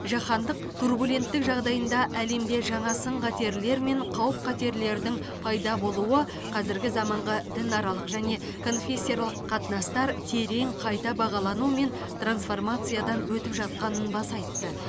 жаһандық турбуленттік жағдайында әлемде жаңа сын қатерлер мен қауіп қатерлердің пайда болуы қазіргі заманғы дінаралық және конфессияаралық қатынастар терең қайта бағалану мен трансформациядан өтіп жатқанын баса айтты